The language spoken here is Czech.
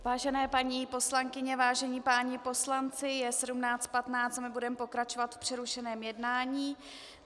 Vážené paní poslankyně, vážení páni poslanci, je 17.15 a my budeme pokračovat v přerušeném jednání.